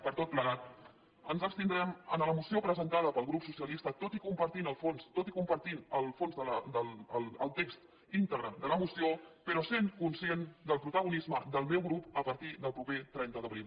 per tot plegat ens abstindrem en la moció presentada pel grup socialista tot i compartint el fons el text íntegre de la moció però sent conscient del protagonisme del meu grup a partir del proper trenta d’abril